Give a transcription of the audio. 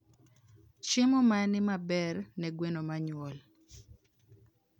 Chiemo mane maber ne gwen manyuol?